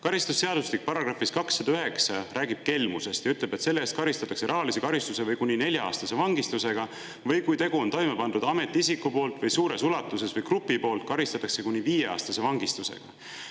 Karistusseadustik räägib §-s 209 kelmusest ja ütleb, et selle eest karistatakse rahalise karistuse või kuni nelja-aastase vangistusega, või kui tegu on toime pandud ametiisiku poolt või suures ulatuses või grupi poolt, karistatakse kuni viieaastase vangistusega.